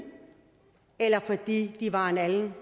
eller fordi de var af en anden